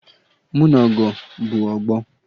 Mụ na Ọgọ bụ ọgbọ